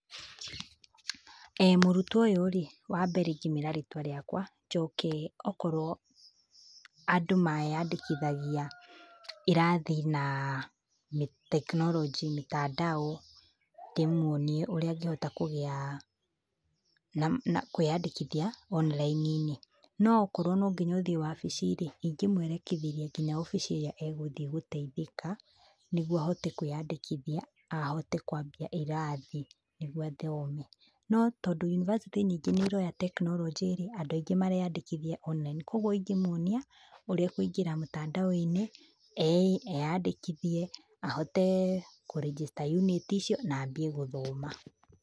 Mũrutwo ũyũ wambere ĩngĩmwĩra rĩtwa rĩakwa, njoke okorwo andũ meyandĩkithagia irathi na tekinoronjĩ, mitandao, ndĩmwonie ũrĩa angĩhota kũgĩa na na kwĩyandĩkithia oniraini-inĩ. No okorwo no nginya ũthiĩ wabici rĩ, ingĩmwerekithĩria nginya wabici ĩrĩa agũthiĩ gũteithĩka, nĩguo ahote kwĩyandĩkithia, ahote kwambia irathi nĩguo athome. No tondũ university nyingĩ nĩ iroya tekinoronjĩ rĩ, andũ aingĩ mareyandĩkithia online. Koguo ingĩmuonia ũrĩa akũingĩra mũtandao-inĩ, eyandĩkithie, ahote kũrĩnjĩsta yunĩti icio na ambie gũthoma.